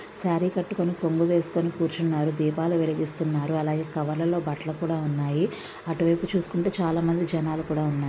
Sorry కట్టుకొని కొంగు వేసుకొని కూర్చున్నారు. దీపాలు వెలిగిస్తున్నారు. అలాగే కవర్ లలో బట్టలు కూడా ఉన్నాయి. అటు వైపు చూసుకుంటే చాలా మంది జనాలు కూడా ఉన్నారు.